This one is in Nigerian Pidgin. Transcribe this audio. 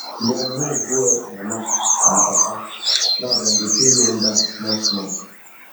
dem move go help mama and papa now dem dey pay loan back small small